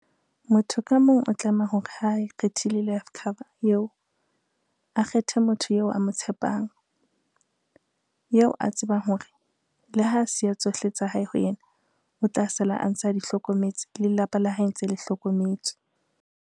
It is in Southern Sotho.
Motho ka mong o tlameha hore ha e kgethile life cover yeo, a kgethe motho yeo a mo tshepang, yeo a tsebang hore, le ha siya tsohle tsa hae ho yena, o tla sala a ntse a di hlokometse le lelapa la hae ntse le hlokometswe.